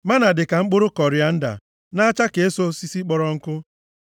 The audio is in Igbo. Mánà dịka mkpụrụ kọrianda, na-acha ka eso osisi kpọrọ nkụ.